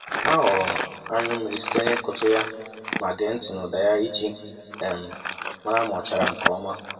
A ghọrọ m anyụ mmiri site n'ikụtụ ya ma gee ntị n'ụda ya iji um mara ma o chara nke ọma.